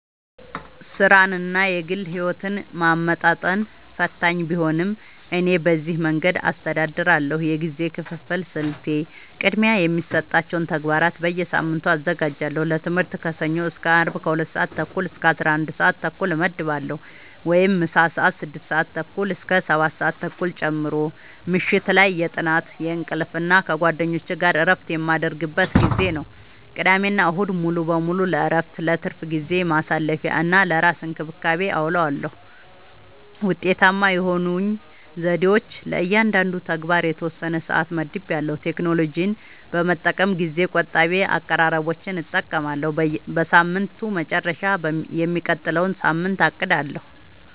ሥራንና የግል ሕይወትን ማመጣጠን ፈታኝ ቢሆንም፣ እኔ በዚህ መንገድ አስተዳድራለሁ፦ የጊዜ ክፍፍል ስልቴ፦ · ቅድሚያ የሚሰጣቸውን ተግባራት በየሳምንቱ አዘጋጃለሁ · ለትምህርት ከሰኞ እስከ አርብ ከ 2:30-11:30 እመድባለሁ (ምሳ ሰአት 6:30-7:30 ጨምሮ) · ምሽት ላይ የጥናት፣ የእንቅልፍ እና ከጓደኞች ጋር እረፍት የምናደርግበት ጊዜ ነው። · ቅዳሜና እሁድ ሙሉ በሙሉ ለእረፍት፣ ለትርፍ ጊዜ ማሳለፊ፣ እና ለራስ እንክብካቤ አዉለዋለሁ። ውጤታማ የሆኑኝ ዘዴዎች፦ · ለእያንዳንዱ ተግባር የተወሰነ ሰዓት መድቤያለሁ · ቴክኖሎጂን በመጠቀም ጊዜ ቆጣቢ አቀራረቦችን እጠቀማለሁ · በሳምንቱ መጨረሻ የሚቀጥለውን ሳምንት አቅዳለሁ